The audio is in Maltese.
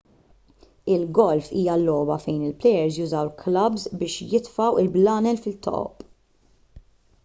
il-golf hija logħba fejn il-plejers jużaw klabbs biex jitfgħu l-blalen fit-toqob